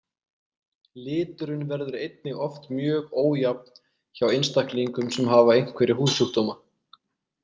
Liturinn verður einnig oft mjög ójafn hjá einstaklingum sem hafa einhverja húðsjúkdóma.